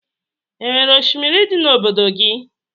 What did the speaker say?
O nwere oshimiri dị n'obodo gị?